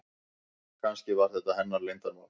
Kannski var þetta hennar leyndarmál.